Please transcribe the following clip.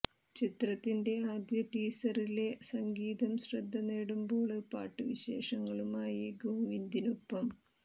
ചിത്രത്തിന്റെ ആദ്യ ടീസറിലെ സംഗീതം ശ്രദ്ധ നേടുമ്പോള് പാട്ടു വിശേഷങ്ങളുമായി ഗോവിന്ദിനൊപ്പം